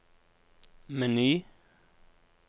meny